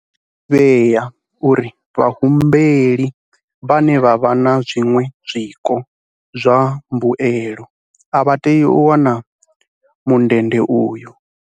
Zwi a ḓivhea uri vhahumbeli vhane vha vha na zwiṅwe zwiko zwa mbuelo a vha tei u wana mundende uyu.